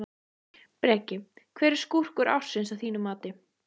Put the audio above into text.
Breki: Hver er skúrkur ársins að þínu mati?